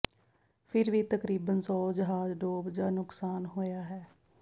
ਫਿਰ ਵੀ ਤਕਰੀਬਨ ਸੌ ਜਹਾਜ਼ ਡੋਬ ਜ ਨੁਕਸਾਨ ਹੋਇਆ ਹੈ